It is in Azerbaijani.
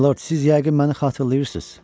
Milord, siz yəqin məni xatırlayırsınız.